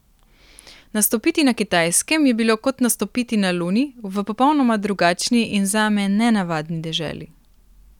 Nastopiti na Kitajskem je bilo kot nastopiti na Luni, v popolnoma drugačni in zame nenavadni deželi.